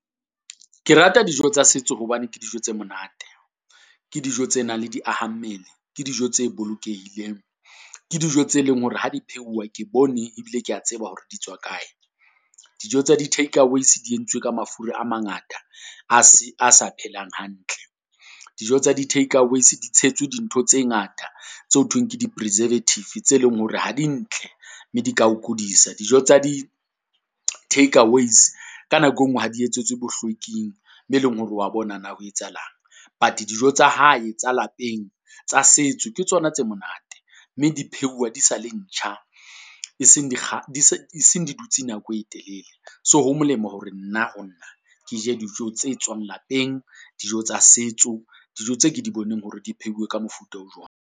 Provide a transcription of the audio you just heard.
Ke rata dijo tsa setso hobane ke dijo tse monate. Ke dijo tse nang le diaha mmele, ke dijo tse bolokehile, ke dijo tse leng hore ha di pheuwe, ke bone e bile ke ya tseba hore di tswa kae. Dijo tsa di-takeaways di entswe ka mafura a mangata a se, a sa phelang hantle. Dijo tsa di-takeaways di tshetswe dintho tse ngata tse ho thweng ke di-preservative, tse leng hore ha di ntle mme di ka o kudisa. Dijo tsa di-takeaways ka nako e nngwe ha di etsetswe bohlweking mo e leng hore o wa bona na ho etsahalang. But dijo tsa hae tsa lapeng tsa setso, ke tsona tse monate mme di pheuwa di sa le ntjha, e seng di di se, eseng di dutse nako e telele. So ho molemo hore nna ho nna ke je dijo tse tswang lapeng. Dijo tsa setso, dijo tse ke di boneng hore di pheuwe ka mofuta o jwang.